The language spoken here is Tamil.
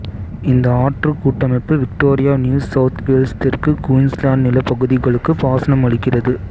இந்த ஆற்றுக் கூட்டமைப்பு விக்டோரியா நியூ சவுத் வேல்ஸ் தெற்கு குயின்ஸ்லாந்து நிலப்பகுதிகளுக்கு பாசனமளிக்கிறது